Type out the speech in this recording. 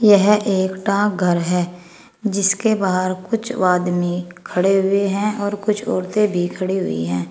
यह एक डाकघर है जिसके बाहर कुछ वादमी खड़े हुए हैं और कुछ औरतें भी खड़ी हुई हैं।